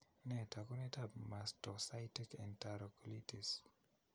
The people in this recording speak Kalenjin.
Nee taakunetaab mastocytic enterocolitis?